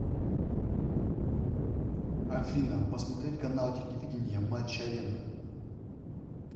афина посмотреть канал телевидения матч арена